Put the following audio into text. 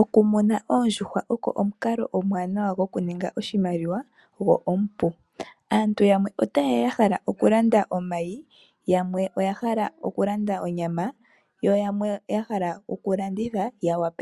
Okumuna oondjuhwa ogo omukalo omwaanawa gokuninga oshimaliwa go omupu. Aantu yamwe otaye ya yahala okulanda omayi, yamwe onyama yo yamwe oyahala okulanda